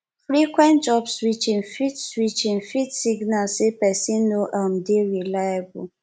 frequent job switching fit switching fit signal sey person no um dey reliable